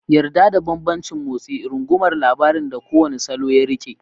Yarda da bambancin motsi, rungumar labarin da kowane salo ya riƙe.